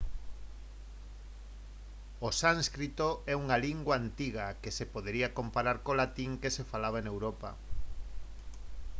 o sánscrito é unha lingua antiga que se podería comparar co latín que se falaba en europa